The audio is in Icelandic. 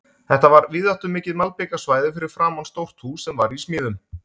Þetta var víðáttumikið malbikað svæði fyrir framan stórt hús sem var í smíðum.